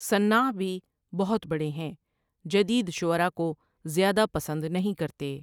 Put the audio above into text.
صنّاع بھی بہت بڑے ہیں جدید شعرا کو زیادہ پسند نہیں کرتے۔